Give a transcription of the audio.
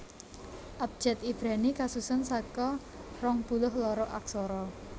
Abjad Ibrani kasusun saka rong puluh loro aksara